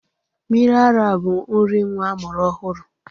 Mmiri ara bụ nri nwa amụrụ ọhụrụ.